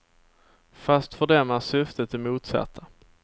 Fast för dem är syftet det motsatta.